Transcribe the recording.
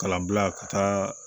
Kalan bila ka taa